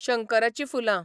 शंकराचीं फुलां